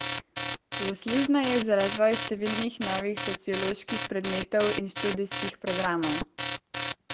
Zaslužna je za razvoj številnih novih socioloških predmetov in študijskih programov.